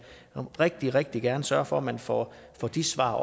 rigtig rigtig gerne sørge for at man får de svar